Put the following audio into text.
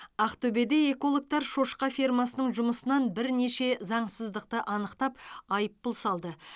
ақтөбеде экологтар шошқа фермасының жұмысынан бірнеше заңсыздықты анықтап айыппұл салды